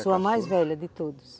Sou a mais velha de todos.